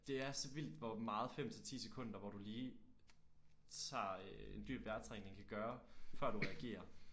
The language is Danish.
Det er så vildt hvor meget 5 til 10 sekunder hvor du lige tager en dyb vejrtrækning kan gøre før du reagerer